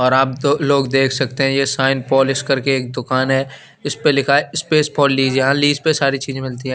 और आप दो लोग देख सकते हैं ये शाइन पोलिश करके एक दुकान है इसपे लिखा है स्पेस फॉर लीज यहां लीज पे सारी चीज मिलती हैं।